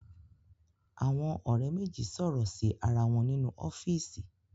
Àwọn ọ̀rẹ́ méjì sọ̀rọ̀ sí ara wọn ninú ọ́fíísì.